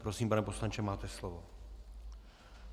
Prosím, pane poslanče, máte slovo.